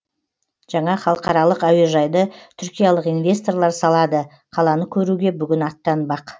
жаңа халықаралық әуежайды түркиялық инвесторлар салады қаланы көруге бүгін аттанбақ